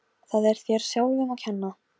Hvernig hugsar svona vinnudýr um börnin sín?